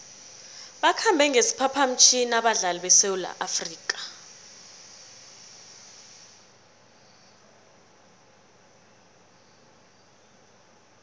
bakhambe ngesiphaphamtjhini abadlali besewula afrika